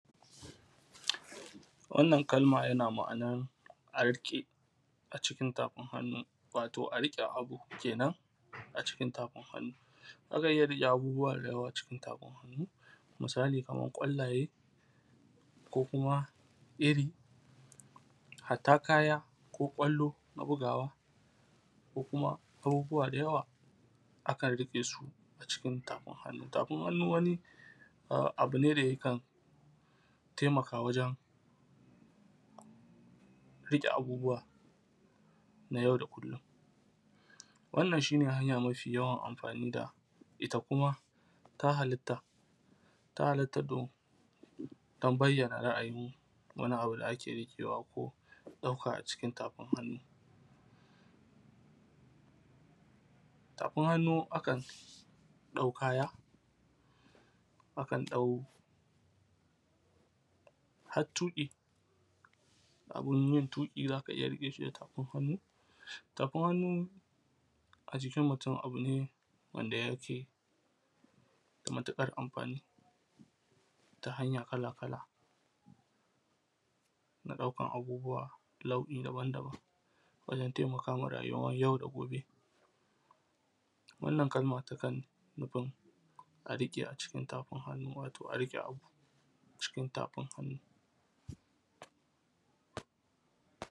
Wannan kalma yana ma’anan, a riƙe cikin tafin hannu, wato a riƙe abu kenan a cikin tafin hannu. Za ka iya riƙe abubuwa da yawa a cikin tafin hannu. Misali kaman ƙwallaye ko kuma iri, hatta kaya ko ƙwallo na bugawa, ko kuma abubuwa da yawa, akan riƙe su a cikin tafin hannu. Tafin hannu wani a abu ne da yakan temaka wajen riƙe abubuwa na yau da kullum. Wannan shi ne hanya mafi yawan amfani da ita, kuma ta halatta, ta halatta irin, dam bayyana ra’ayin wani abu da ake riƙewa ko a ɗauka a cikin tafin hannu. Tafin hannu akan ɗau kaya, akan ɗau hat tuƙi, a gurin yin tuƙi za ka iya riƙe shi da tafin hannu. Tafin hannu a jikin mutum abu ne wanda yake da matuƙar amfani ta hanya kala-kala, da ɗaukan abubuwa nau’i daban-daban wajen temakawa ma rayuwar yau da gobe, wannan kalma takan nufin, a rike a cikin tafin hannu, wato a riƙe abu cikin tafin hannu.